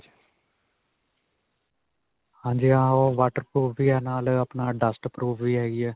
ਹਾਂਜੀ ਹਾਂ. ਓਹ waterproof ਵੀ ਹੈ ਨਾਲ ਆਪਣਾ dust proof ਵੀ ਹੈਗੀ ਹੈ.